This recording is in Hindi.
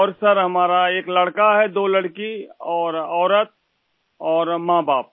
और सर हमारा एक लड़का हैं दो लड़की और औरत और माँबाप